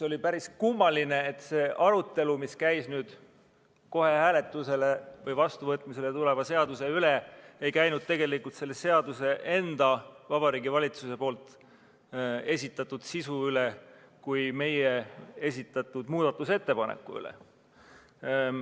Oli päris kummaline, et nüüd kohe hääletusele või vastuvõtmisele tuleva seaduse puhul ei käinud arutelu tegelikult mitte selle seaduse enda, st Vabariigi Valitsuse esitatud eelnõu sisu üle, vaid käis meie esitatud muudatusettepaneku üle.